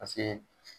Paseke